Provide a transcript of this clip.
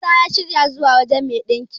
Isa ya shirya zuwa wajen me ɗinkin.